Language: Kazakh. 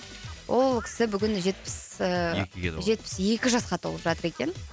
ол кісі бүгін жетпіс ііі екіге толады жетпіс екі жасқа толып жатыр екен